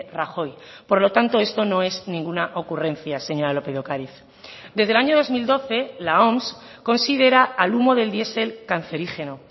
rajoy por lo tanto esto no es ninguna ocurrencia señora lópez de ocariz desde el año dos mil doce la oms considera al humo del diesel cancerígeno